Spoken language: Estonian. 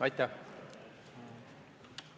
Aitäh!